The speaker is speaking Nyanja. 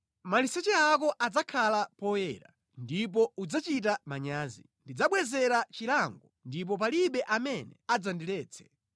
Maliseche ako adzakhala poyera ndipo udzachita manyazi. Ndidzabwezera chilango ndipo palibe amene adzandiletse.”